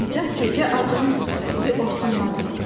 Nicat, gecə acığım tutdu, sizi ofsunladım.